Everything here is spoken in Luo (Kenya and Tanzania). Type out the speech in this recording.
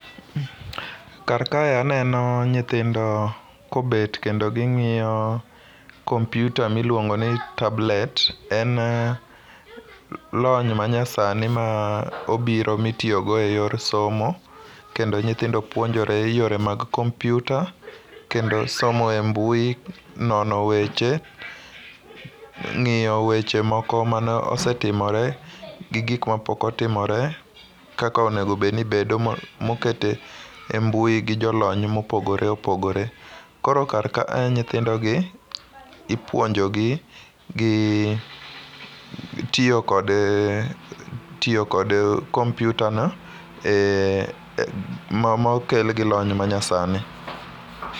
Kar kae aneno nyithindo kobet kendo ging'iyo kompyuta miluongoni tablet . En lony manyasani ma obiro mitiyogo e yor somo kendo nyithindo puonjore yore mag kompyuta kendo somo e mbui, nono weche, ng'iyo weche moko mane osetimore gi gik mapok otimore kaka onego obed ni bedo kaka oket e mbui gi jolony mopogore opogore. Koro kar ka, nyithindogi ipuonjogi gi tiyo kod kompyutano, mokel gi lony manyasani.